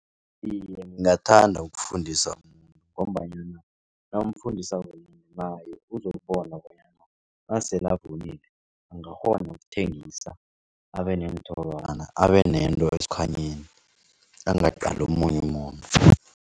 Iye, ngingathanda ukufundisa umuntu ngombanyana nawumfundisako naye uzokubona bonyana nasele avunile angakghona ukuthengisa, abeneenthorwana abenento esikhwanyeni angaqali omunye umuntu.